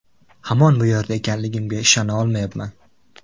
Hamon bu yerda ekanligimga ishona olmayapman.